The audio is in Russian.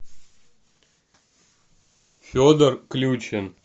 федор ключин